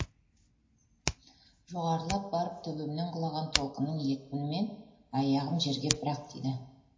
жоғарылап барып төбемнен құлаған толқынның екпінімен аяғым жерге бір ақ тиді